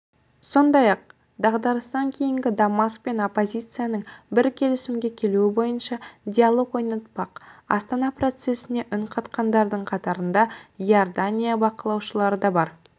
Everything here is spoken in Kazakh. сондай-ақ дағдарыстан кейінгі дамаск пен оппозицияның бір келісімге келуі бойынша диалог орнатпақ астана процесіне үнқатқандардың қатарында иорданияның бақылаушылары да бар